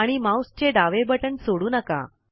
आणि माउस चे डावे बटन सोडू नका